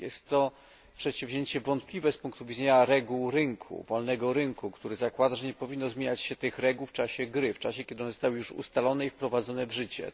Jest to przedsięwzięcie wątpliwe z punktu widzenia reguł rynku wolnego rynku który zakłada, że nie powinno zmieniać się tych reguł w czasie gry, w czasie, kiedy one zostały już ustalone i wprowadzone w życie.